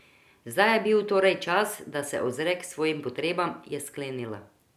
Zdaj je bil torej čas, da se ozre k svojim potrebam, je sklenila.